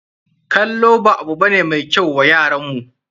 Kallo ba abu ba ne mai kyau wa yaran mu.